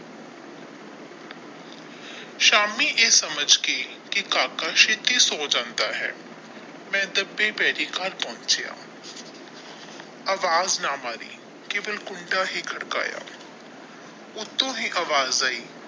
ਸ਼ਾਮੀ ਇਹ ਸੱਮਝ ਕੇ ਕਿ ਕਾਕਾ ਛੇਤੀ ਸੋ ਜਾਂਦਾ ਹੈ ਮੈਂ ਦੱਬੇ ਪੈਰੀ ਘਰ ਪਹੁੰਚਿਆਂ ਆਵਾਜ਼ ਮਾਰੀ ਕੇਵਲ ਕੰਡਾ ਹੀ ਖੜਕਾਇਆ ਉੱਤੋਂ ਹੀ ਆਵਾਜ਼ ਆਏ।